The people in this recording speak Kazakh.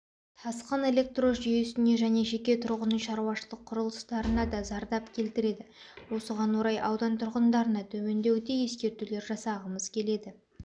тасқын электро жүйесіне және жеке тұрғын үй шаруашылық құрылыстарына да зардап келтіреді осыған орай аудан тұрғындарына төмендегідей ескерулер жасағымыз келеді